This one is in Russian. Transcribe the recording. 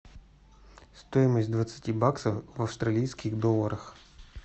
стоимость двадцати баксов в австралийских долларах